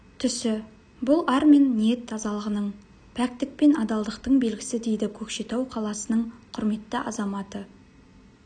түсі бұл ар мен ниет тазалығының пәктік пен адалдықтың белгісі дейді көкшетау қаласының құрметті азаматы